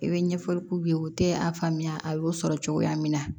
I bɛ ɲɛfɔli k'u ye u tɛ a faamuya a y'o sɔrɔ cogoya min na